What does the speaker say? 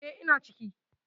E, ina ciki.